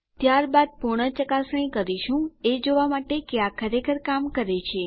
ત્યારબાદ પૂર્ણ ચકાસણી કરીશું એ જોવા માટે કે આ ખરેખર કામ કરે છે